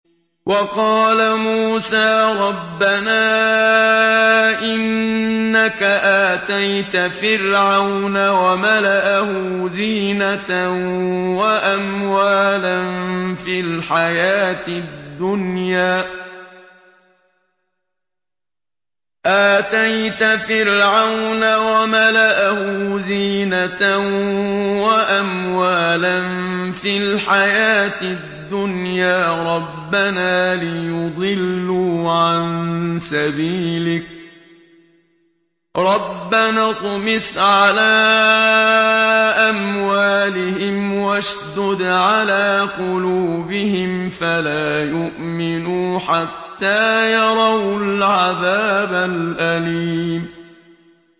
وَقَالَ مُوسَىٰ رَبَّنَا إِنَّكَ آتَيْتَ فِرْعَوْنَ وَمَلَأَهُ زِينَةً وَأَمْوَالًا فِي الْحَيَاةِ الدُّنْيَا رَبَّنَا لِيُضِلُّوا عَن سَبِيلِكَ ۖ رَبَّنَا اطْمِسْ عَلَىٰ أَمْوَالِهِمْ وَاشْدُدْ عَلَىٰ قُلُوبِهِمْ فَلَا يُؤْمِنُوا حَتَّىٰ يَرَوُا الْعَذَابَ الْأَلِيمَ